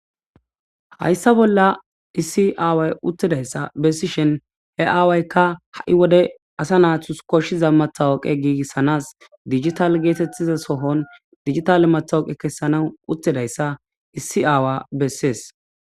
hayssa bolla issi aaway uttedayssa bessishen he aawaykka ha7i wode asa naathus koshshiza mathawooqe giigissanas digital geetettiza sohon digitale mathawoqe kessana uttedayssa issi aawa bessees